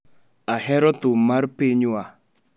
Ahero thum mar pinywa.